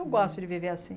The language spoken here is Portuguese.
Eu gosto de viver assim.